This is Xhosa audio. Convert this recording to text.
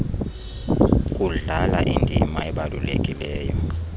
kudlala indima ebalulekileyo